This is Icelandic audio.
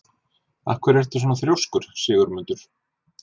Af hverju ertu svona þrjóskur, Sigurmundur?